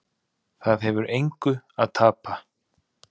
Það hefur engu að tapa